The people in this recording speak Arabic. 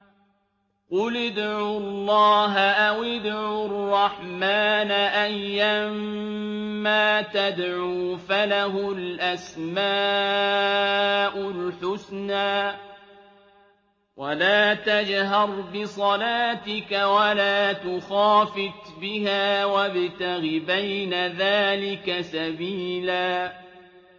قُلِ ادْعُوا اللَّهَ أَوِ ادْعُوا الرَّحْمَٰنَ ۖ أَيًّا مَّا تَدْعُوا فَلَهُ الْأَسْمَاءُ الْحُسْنَىٰ ۚ وَلَا تَجْهَرْ بِصَلَاتِكَ وَلَا تُخَافِتْ بِهَا وَابْتَغِ بَيْنَ ذَٰلِكَ سَبِيلًا